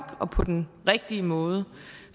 og på den rigtige måde